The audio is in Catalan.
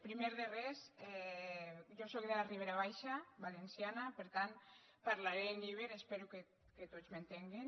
primer de res jo sóc de la ribera baixa valenciana per tant parlaré en iber espero que tots m’entenguen